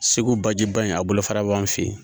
Segu bajiba in a bolofara b'an fɛ yen